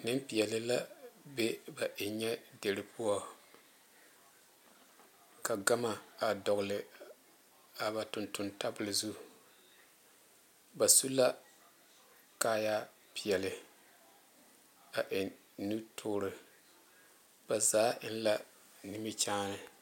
Nempeɛle la be ba enyɛ die poɔ ka gama dole a ba tontoŋ tabole zu ba suu la kaayaare peɛle a eŋ nu tuoro ba zaa eŋ la nimikyene.